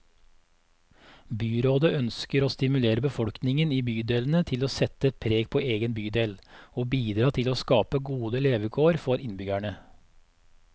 Byrådet ønsker å stimulere befolkningen i bydelene til å sette preg på egen bydel, og bidra til å skape gode levekår for innbyggerne.